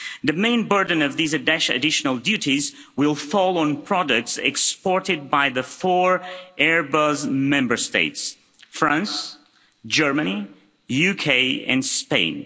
The main burden of these additional duties will fall on products exported by the four Airbus Member States France, Germany, UK and Spain.